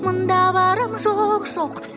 мында барам жоқ жоқ